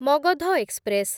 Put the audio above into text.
Magadha express